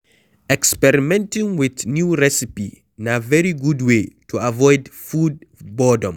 Experimenting with new recipe na very good way to avoid food boredom